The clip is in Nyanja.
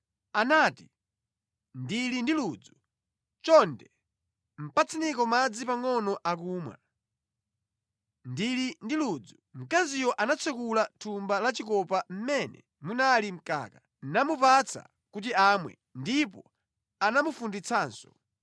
Anati, “Ndili ndi ludzu, chonde patseniko madzi pangʼono akumwa, ndili ndi ludzu.” Mkaziyo anatsekula thumba la chikopa mmene munali mkaka, namupatsa kuti amwe, ndipo anamufunditsanso.